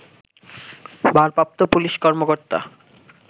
ভারপ্রাপ্ত পুলিশ কর্মকর্তা